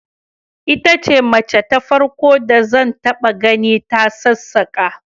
Ita ce mace ta farko da zan taba gani ta sassaka